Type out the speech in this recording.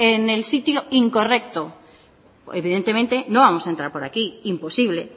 en el sitio incorrecto evidentemente no vamos a entrar por aquí imposible